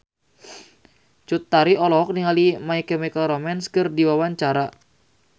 Cut Tari olohok ningali My Chemical Romance keur diwawancara